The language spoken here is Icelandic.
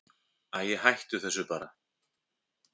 Æi, hættu þessu bara.